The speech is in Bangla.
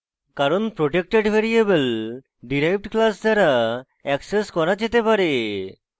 কারণ protected ভ্যারিয়েবল derived class দ্বারা অ্যাক্সেস করা যেতে পারে